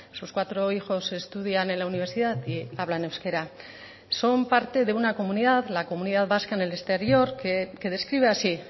sus cuatro hijos estudian en la universidad y hablan euskera son parte de una comunidad la comunidad vasca en el exterior que describe así